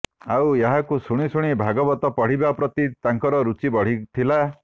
ଆଉ ଏହାକୁ ଶୁଣି ଶୁଣି ଭାଗବତ ପଢ଼ିବା ପ୍ରତି ତାଙ୍କର ରୁଚି ବଢ଼ିଥିଲା